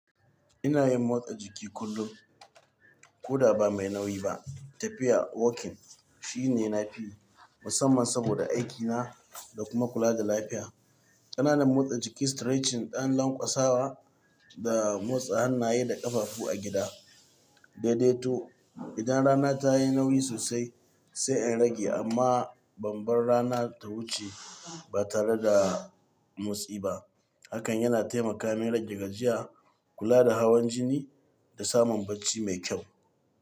Ina yin motsa jiki kullum. Ko da ba mai nauyi ba. Tafiya, walking shine nafiyi musamman saboda aikina da kuma kula da lafiya. Kananan motsa jiki, stretching, ɗan lanƙwasawa da motsa hannaye da ƙafafu a gida. Sai dai to idan rana ta yi nauyi sosai sai in rage amma ban bar rana ta wuce ba tare da motsi ba. Hakan yana taimaka min rage gajiya, kula da hawan jini da samun bacci mai kyau.